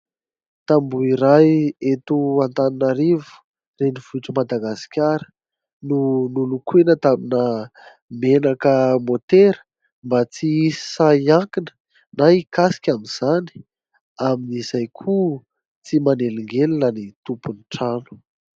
Tamboho iray eto Antananarivo renivohitry Madagasikara no nolokoina tamina menaka motera mba tsy hisy sahy hiankina na hikasika amin'izany, amin'izay koa tsy manelingelina ny tompon'ny trano.